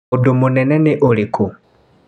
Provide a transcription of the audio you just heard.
Ũndũ mũnene nĩ ũrĩkũ.